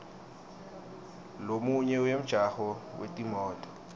lomunye wemjaho wetimoto